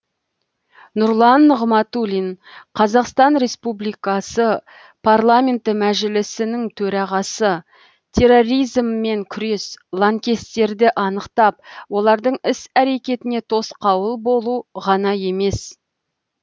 нұрлан нығматулин қазақстан республикасы парламенті мәжілісінің төрағасы терроризммен күрес лаңкестерді анықтап олардың іс әрекетіне тосқауыл болу ғана емес